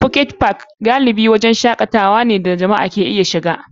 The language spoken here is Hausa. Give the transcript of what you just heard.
Pocket Park wurin shakatawa ne wanda galibin jama'a ke iya shiga.